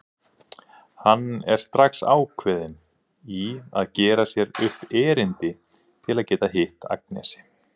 Hann er strax ákveðinn í að gera sér upp erindi til að geta hitt Agnesi.